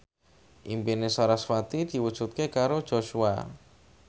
impine sarasvati diwujudke karo Joshua